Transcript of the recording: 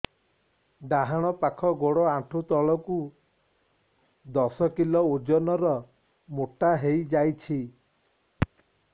ଡାହାଣ ପାଖ ଗୋଡ଼ ଆଣ୍ଠୁ ତଳକୁ ଦଶ କିଲ ଓଜନ ର ମୋଟା ହେଇଯାଇଛି